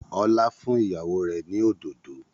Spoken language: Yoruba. Ọlá fún ìyàwó rẹ̀ ni òdòdó